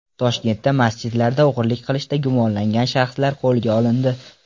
Toshkentda masjidlarda o‘g‘irlik qilishda gumonlangan shaxslar qo‘lga olindi.